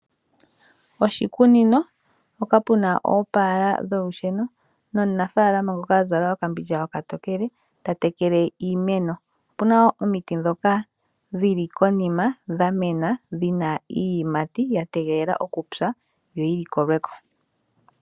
Oshikunino mpoka pu na oopala dholusheno nomunafalama ngoka a zala okambindja okatokele ta tekele iimeno pu na wo omiti ndhoka dhili konima dha mena dhi na iiyimati ya tegelela okupya yo yi likolweko.